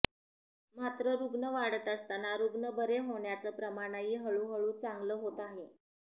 मात्र रुग्ण वाढत असताना रुग्ण बरे होण्याचं प्रमाणही हळूहळू चांगलं होत आहे